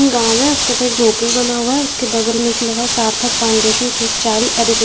गाँव में उसके ऊपर एक झोपड़ी बना हुआ है उसके बगल में एक लगा सार्थक फाउंडेशन की चॉल एडुके --